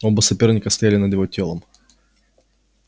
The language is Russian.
оба соперника стояли над его телом